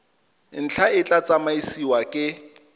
ntlha e tla tsamaisiwa ke